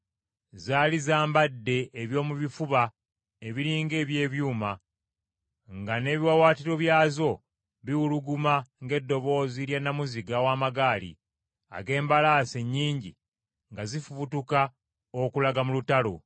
Zaali zambadde eby’omu bifuba ebiri ng’eby’ebyuma, nga n’ebiwaawaatiro byazo biwuluguma ng’eddoboozi lya nnamuziga w’amagaali, ag’embalaasi ennyingi nga zifubutuka okulaga mu lutalo.